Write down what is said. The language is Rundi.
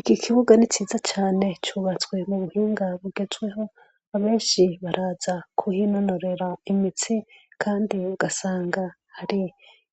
Iki kibuga ni ciza cane cubatswe mu buhinga bugezweho abenshi baraza kuhinonorera imitsi, kandi ugasanga hari